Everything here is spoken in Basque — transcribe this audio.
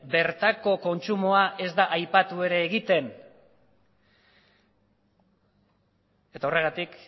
bertako kontsumoa ez da aipatu ere egiten horregatik